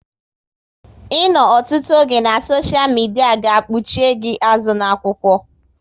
Ịnọ ọtụtụ oge na soshia midia ga kpuchie gị azụ na-akwụkwọ